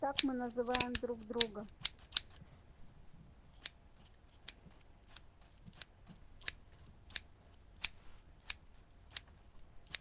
так мы называем друг друга